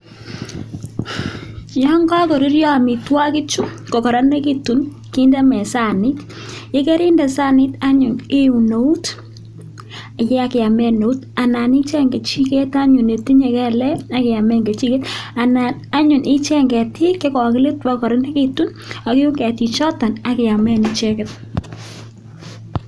Yoon kokoruryo amitwokichu kokoronekitu kindesanit, yekerinde saniit anyun iun eut inyon iamen eut anan icheng kechiket anyun netinye kelek ak iamen kechiket, anan anyun icheng ketik chekokilit bakokoronekitu ak iun ketichoton ak iamen icheket.